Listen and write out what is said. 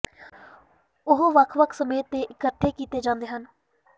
ਉਹ ਵੱਖ ਵੱਖ ਸਮੇ ਤੇ ਇਕੱਠੇ ਕੀਤੇ ਜਾਂਦੇ ਹਨ